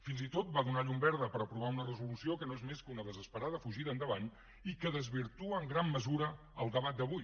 fins i tot va donar llum verda per aprovar una resolució que no és més que una desesperada fugida endavant i que desvirtua en gran mesura el debat d’avui